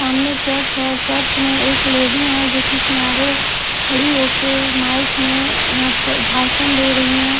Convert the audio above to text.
सामने चर्च है और चर्च में एक लेडी है जो की किनारे खड़ी हो के माइक में यहां पर भाषण दे रही है।